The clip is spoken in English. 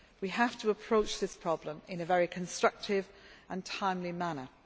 We have to approach this problem in a very constructive and timely manner.